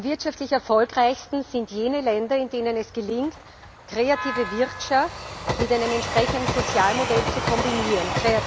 Wirtschaftlich am erfolgreichsten sind jene Länder, in denen es gelingt, kreative Wirtschaft mit einem entsprechenden Sozialmodell zu kombinieren.